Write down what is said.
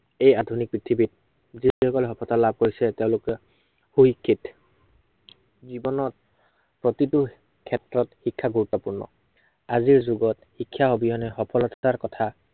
এই আধুনিক পৃথিৱীত, যি সকলে সফলতা লাভ কৰিছে তেঁওলোকে, সুশিক্ষিত। জীৱনত প্ৰতিটো ক্ষেত্ৰত শিক্ষা গুৰুত্বপূৰ্ণ। আজিৰ জীৱনত শিক্ষা অবিহনে সফলতাৰ কথা